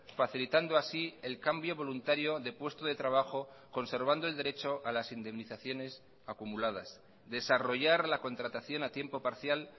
facilitando así el cambio voluntario de puesto de trabajo conservando el derecho a las indemnizaciones acumuladas desarrollar la contratación a tiempo parcial